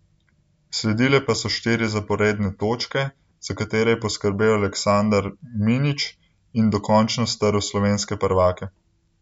Sledile pa so štiri zaporedne točke, za katere je poskrbel Aleksandar Minić in dokončno strl slovenske prvake.